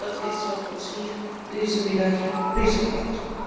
Dat is wat ons hier deze middag bezighoudt.